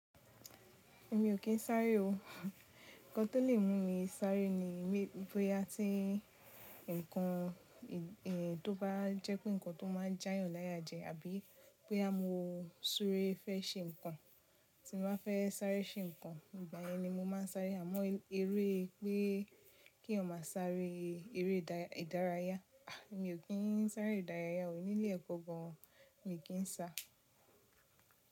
Èmi ò kí n sáré o. Ǹkan tó lè mú mi sáré ni bóyá tí ǹkan tí ó bá jẹ́ pé ǹkan tó máa já yàn láya jẹ, àbí bóyá mo súre fẹ́ ṣe ǹkan tí n ba fẹ́ sáré ṣe ǹkan, ìgbà yẹn ni mo máa sáré. Àmọ́ eré pé kí èèyàn má sáré eré ìdárayá, a! Èmi ò kí n sáré ìdárayá o, ní ilé ẹ̀kọ́ gán, mí kí n sa.